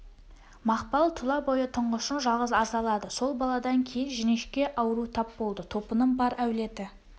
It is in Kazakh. мақпал тұла бойы тұңғышын жалғыз азалады сол баладан кейін жіңішке ауру тап болды топының бар әулеті